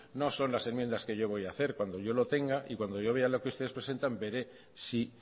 no son las enmiendas que yo voy a hacer cuando yo lo tenga y cuando yo vea lo que ustedes presentan veré si